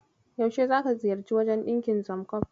Yaushe zaka ziyarci wajen ɗinkin Samcob?